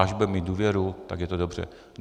Až bude mít důvěru, tak je to dobře.